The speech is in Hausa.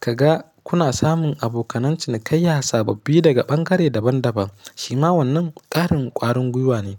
ka ga kuna samun abokan cinikayya sababbi daga ɓangare daban-daban. Shi ma wannan ƙarin ƙwarin gwiwa ne.